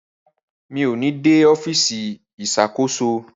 Rara, mi o ní dé ọfisi Ìṣàkóso